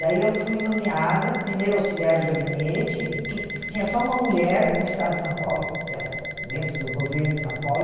Daí eu fui nomeada primeira auxiliar de gabinete, que que tinha só uma mulher no Estado de São Paulo, eh dentro do governo de São Paulo.